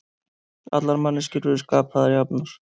Allar manneskjur eru skapaðar jafnar